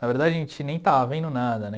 Na verdade, a gente nem estava vendo nada, né?